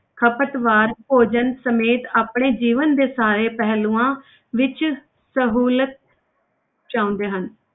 ਖ਼ਪਤਵਾਰ ਭੋਜਨ ਸਮੇਤ ਆਪਣੇ ਜੀਵਨ ਦੇ ਸਾਰੇ ਪਹਿਲੂਆਂ ਵਿੱਚ ਸਹੂਲਤ ਚਾਹੁੰਦੇ ਹਨ।